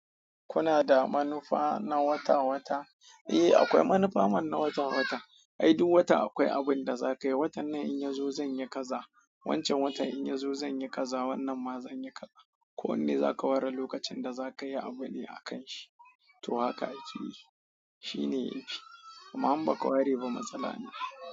Kuna da manufa na wata-wata? Eh, akwai manufa man na wata-wata. Ai duk wata akwai abin da za ka yi. Watan nan in ya zo zan yi kaza, wancan watan in ya zo zan yi kaza, wannan ma zan yi kaza. Ko wanne za ka ware lokacin da za ka yi abu ne a kan shi. To haka akeyi shine yafi. Amma in baka ware ba matsala ne.